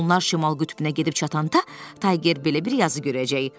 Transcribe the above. Onlar şimal qütbünə gedib çatanda Tayger belə bir yazı görəcək.